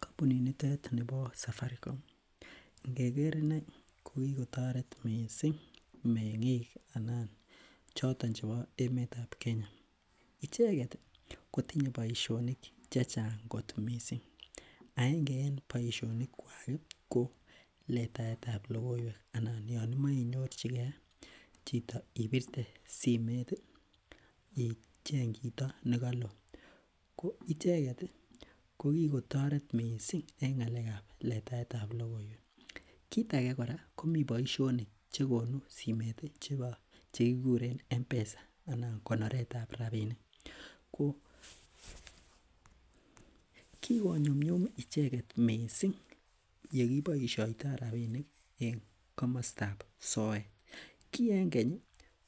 Kampunit nitet nebo safaricom ingeker inei kokitoret me'ngik choton chebo icheket ih kotinye boisionik chechang kot missing aenge en baisionik kuak ih ko letaetab logoiwek anan anan Yoon imoche inyorchikee Kee chito ibirte simeet ih icheng chito nekaloo. Ko icheket ih ko kikotoret missing en ng'alekab letaetab logoiwek, kit age kora komi boisionik chegonu simmet ih chekikuren mpesa, anan ko oretab rabinik, ko kikonyumnyum icheket missing yekeboisiatio rabinik en kamastab soet, ki en keny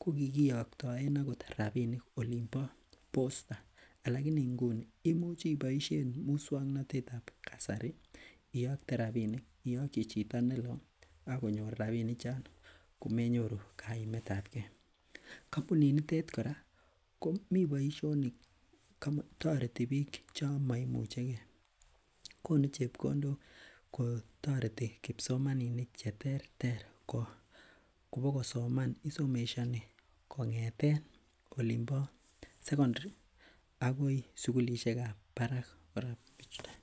kokikiagtaen rabinik olimbo bosta. Alakini nguni imuch ibaishen musuaknotetab kasari iakte rabinik, iaokchi chito neloo ih akonyor rabinik choton komenyoru kaimetabke kampunit nitet kora komi boisionik, toreti bik chon mamucheke konu chebkondok kotareti kipsomaninikwak cheterter kobokosoman. Isomeshani kong'eten olimbo secondary agoi sugulisiekab barak.